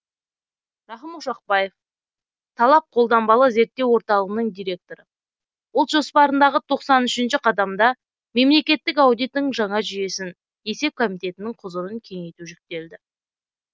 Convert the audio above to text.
рахым ошақбаев талап қолданбалы зерттеу орталығының директоры ұлт жоспарындағы тоқсан үшінші қадамда мемлекеттік аудиттің жаңа жүйесін есеп комитетінің құзырын кеңейту жүктелді